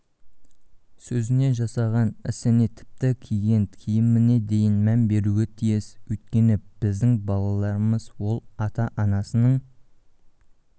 сөзіне жасаған ісіне тіпті киген киіміне дейін мән беруі тиіс өйткені біздің балаларымыз ол ата-анасының